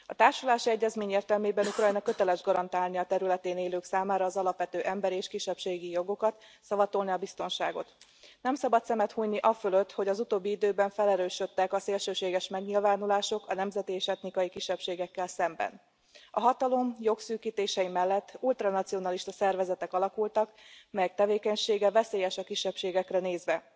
A társulási egyezmény értelmében Ukrajna köteles garantálni a területén élők számára az alapvető emberi és kisebbségi jogokat, szavatolni a biztonságot. Nem szabad szemet hunyni afölött, hogy az utóbbi időben felerősödtek a szélsőséges megnyilvánulások a nemzeti és etnikai kisebbségekkel szemben. A hatalom jogszűkítései mellett ultranacionalista szervezetek alakultak, melyek tevékenysége veszélyes a kisebbségekre nézve.